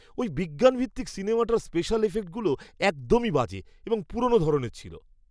ওই বিজ্ঞানভিত্তিক সিনেমাটার স্পেশাল এফেক্টগুলো একদমই বাজে এবং পুরনো ধরনের ছিল।